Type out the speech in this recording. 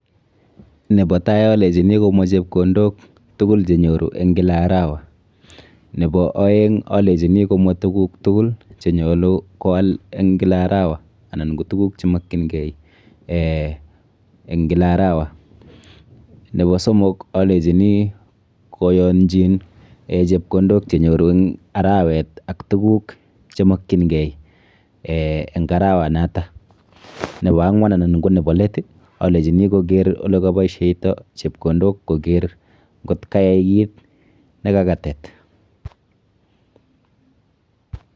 Nepo tai alechini komwa chepkondok tukul chenyoru eng kila arawa. Nepo aeng alechini komwa tuguk tukul chenyolu koal eng kila arawa anan ko tuguk chemokchinkei eh eng kila arawa. Nepo somok alechini koyonchin chepkondok chenyoru eng arawet ak tuguk chemokchinkei eh eng arawanoto. Nepo ang'wan anan ko nepo let, alechini koker olekapoisheito chepkondok koker nkot kayai kit kekakatet.